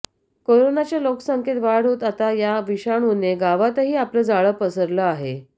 कोरोनाच्या लोकसंख्येत वाढ होत आता या विषाणूने गावातही आपलं जाळं पसरलं आहे